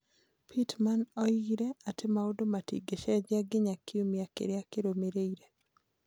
Pittman oigire atĩ maũndũ matingĩcenjia nginya kiumia kĩrĩa kĩrũmĩrĩire.